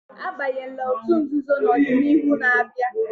Abanyela n'otú nzuzo na ọdịnihu na-abịa!